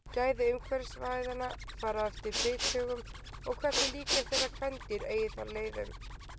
Gæði umráðasvæðanna fara eftir bithögum og hversu líklegt er að kvendýr eigi þar leið um.